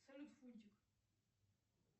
салют фунтик